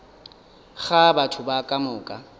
ga batho ba ka moka